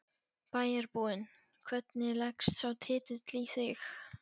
bæjarbúinn, hvernig leggst sá titill í þig?